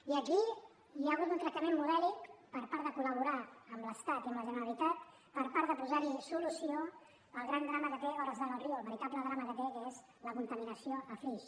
i aquí hi ha hagut un tractament modèlic per tal de coli amb la generalitat per tal de posar solució al gran drama que té a hores d’ara el riu el veritable drama que té que és la contaminació a flix